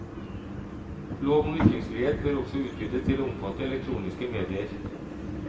Lov om ytringsfrihet bør også utvides til å omfatte elektroniske medier.